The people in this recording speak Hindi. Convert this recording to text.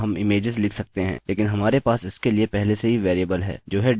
अतः हम images लिख सकते हैं लेकिन हमारे पास इसके लिए पहले से ही वेरिएबल है जो है dir